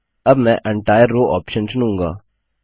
अब मैं entire row option चुनूँगा